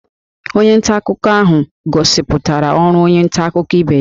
Onye nta akụkọ ahụ gosipụtara ọrụ onye nta akụkọ ibe ya